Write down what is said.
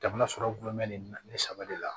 Jamana sɔrɔ gulɔ mɛnnen na ne saba de la